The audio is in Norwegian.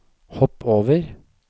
hopp over